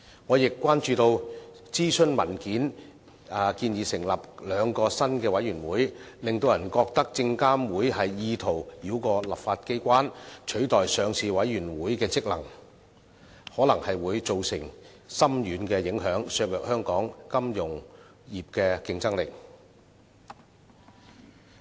我亦關注到諮詢文件建議成立兩個新的委員會，令人覺得證監會意圖繞過立法機關，取代上市委員會的職能，可能會造成深遠影響，削弱香港金融業的競爭力。